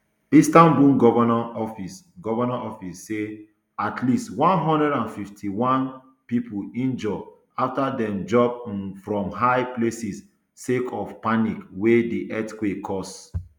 istanbul govnor office govnor office say at least one hundred and fifty-one pipo injure afta dem jump um from high places sake of panic wey di earthquake cause